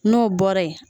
N'o bɔra ye